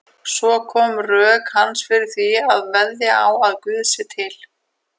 Svo koma rök hans fyrir því að veðja á að Guð sé til.